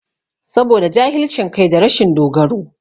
Saboda jahilcin kai da rashin dogaro